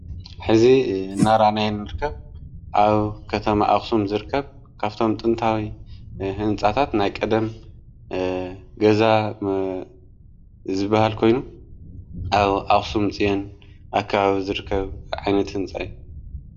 ሕዚ ናራናይንርከብ ኣብ ከም ኣስም ዝርከብ ካብቶም ጥንታዊ ሕንጻታት ናይ ቀደም ገዛ ዝበሃል ኮይኑ ኣብ ኣስም ፂአን ኣካብ ዘርከብ ዓይነት ሕንጻ እዩ።